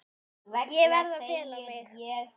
Ég verð að fela mig.